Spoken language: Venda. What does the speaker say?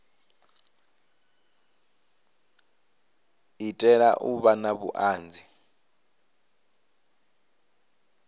itela u vha na vhuanzi